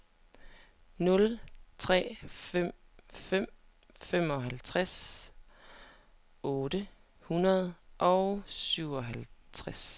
nul tre fem fem femoghalvtreds otte hundrede og syvoghalvtreds